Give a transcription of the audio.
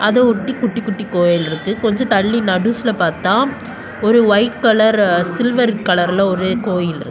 இதெ ஒட்டி குட்டி குட்டி கோயில் இருக்கு கொஞ்ஜொ தல்லி நடுஸ்லெ பாத்தா ஒரு வைட் கலர் சில்வர் கலர்லெ ஒரு கோயில் இருக்கு.